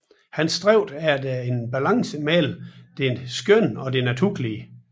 Han stræbte efter en balance mellem det skønne og det naturlige